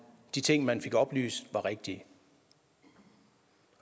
de ting man fik oplyst var rigtige og